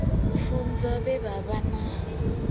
pfunzo vhe vha vha na